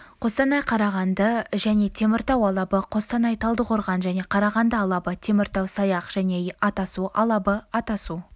қостанай қарағанды және теміртау алабы қостанай талдықорған және қарағанды алабы теміртау саяқ және атасу алабы атасу